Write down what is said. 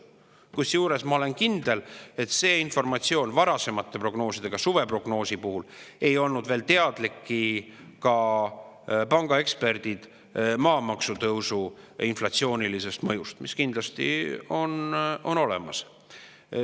Kusjuures ma olen kindel, et varasemate prognooside, ka suveprognoosi puhul ei olnud pangaeksperdid veel teadlikud maamaksu tõusu inflatsioonilisest mõjust, mis kindlasti on olemas.